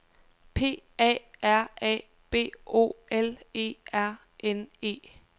P A R A B O L E R N E